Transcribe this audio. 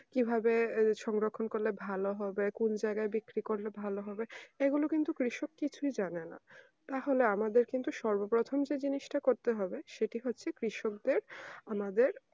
কি ভাবে সংরক্ষণ করলে ভালো হবে কোন জায়গায় বিক্রি করলে ভালো হবে এসব কিন্তু কৃষক কিছুই জানে না তাহলে আমাদের কিন্তু সর্ব প্রথম যে জিনিস টা করতে হবে সেটি হচ্ছে কৃষক দেড় ওনাদের